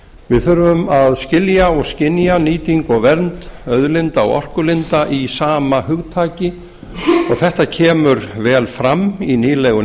við þurfum að skilja og skynja nýtingu og vernd auðlinda og orkulinda í sama hugtaki og þetta kemur vel fram í nýlegu